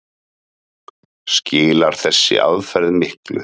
Skilar þessi aðferð miklu?